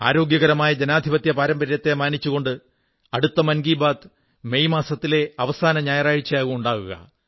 ആരോഗ്യകരമായ ജനാധിപത്യ പാരമ്പര്യത്തെ മാനിച്ചുകൊണ്ട് അടുത്ത മൻ കീ ബാത് മെയ് മാസത്തിലെ അവസാനത്തെ ഞായറാഴ്ചയാകും ഉണ്ടാവുക